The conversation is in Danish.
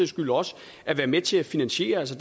skyld også at være med til at finansiere det